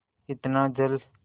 इतना जल